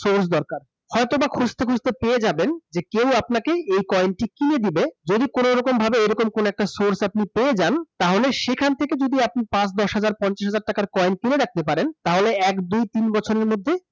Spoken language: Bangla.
সোর্স দরকার। হয়তোবা খুজতে খুজতে পেয়ে যাবেন যে কেও আপনাকে এই কইন টি কিনে দিবে । যদি আপনি কোন ভাবে সোর্স টি পেয়ে যান তাহলে সেখান থেকে যদি আপনি ছাপ দশ হাজার, পঞ্চাশ হাজার টাকার কইন কিনে রাখতে পারেন তাহলে এক দুই তিন বছরের মধ্যে